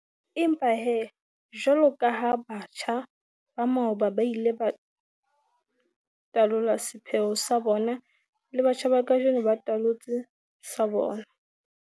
Empa he, jwaloka ha batjha ba maoba ba ile ba talola sepheo sa bona, le batjha ba kajeno ba talotse sa bona.